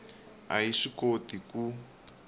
a yi swi koti ku